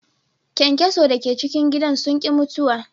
Kyankyaso da ke cikin gidan sun ki mutuwa.